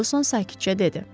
Ferqüson sakitcə dedi.